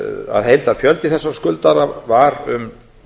að heildarfjöldi þessara skuldara var um